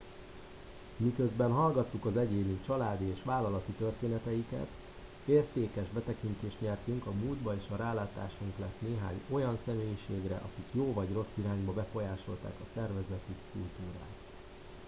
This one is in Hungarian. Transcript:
miközben hallgattuk az egyéni családi és vállalati történeteiket értékes betekintést nyertünk a múltba és rálátásunk lett néhány olyan személyiségre akik jó vagy rossz irányba befolyásolták a szervezeti kultúrát